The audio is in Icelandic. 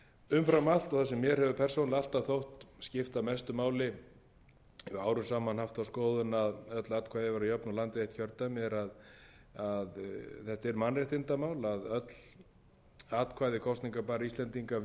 umfram allt og það sem mér hefur persónulega alltaf þótt skipta mestu máli haft þá skoðun að öll atkvæði væru jöfn og landið eitt kjördæmi þetta er mannréttindamál að öll atkvæði kosningabærra íslendinga vegi